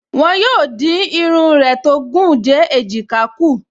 Wọ́n yóò dín irun rẹ tó gùn dé èjìká kù